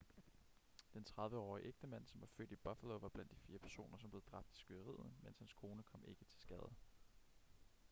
den 30-årige ægtemand som var født i buffalo var blandt de fire personer som blev dræbt i skyderiet men hans kone kom ikke til skade